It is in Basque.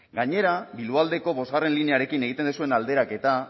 gainera bilboaldeko bosgarren linearekin egiten duzuen alderaketa